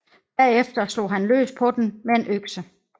Bagefter slog han løs på den med en økse